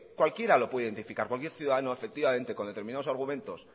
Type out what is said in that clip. cualquiera lo puede identificar cualquier ciudadano efectivamente con determinados argumentos